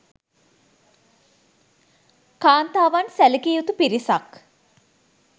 කාන්තාවන් සැලකිය යුතු පිරිසක්